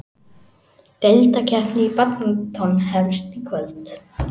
Deildakeppnin í badminton hefst í kvöld